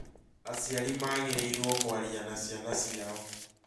Aciari magĩrĩirũo kwaria na ciana ciao